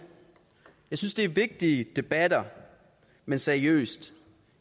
jeg synes at det er vigtige debatter men seriøst